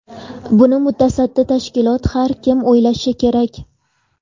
Buni mutasaddi tashkilot, har kim o‘ylashi kerak.